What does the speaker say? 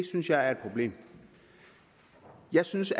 synes jeg er et problem jeg synes